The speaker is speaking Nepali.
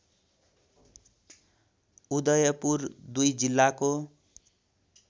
उदयपुर दुई जिल्लाको